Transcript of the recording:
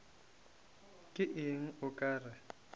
ke eng o ka re